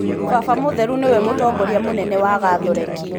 Baba mũtheru nĩwe mũtongoria mũnene wa gatholeki.